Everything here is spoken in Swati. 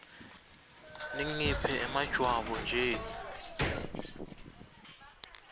ningiphe emajwabu nje